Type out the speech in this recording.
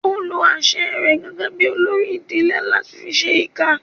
Ó lo àṣẹ rẹ̀ gẹ́gẹ́ bí olórí ìdílé láti fi ṣẹ ìkà